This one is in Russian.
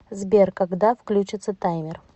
сбер когда влючится таймер